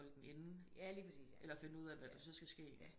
At holde den inde eller så finde ud af hvad der skal ske